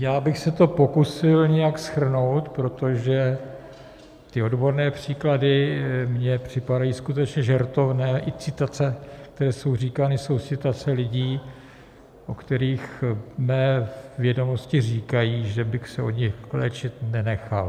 Já bych se to pokusil nějak shrnout, protože ty odborné příklady mně připadají skutečně žertovné, i citace, které jsou říkány, jsou citace lidí, o kterých mé vědomosti říkají, že bych se od nich léčit nenechal.